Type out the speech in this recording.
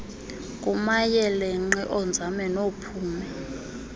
kumayeelenqe oonzame noophumi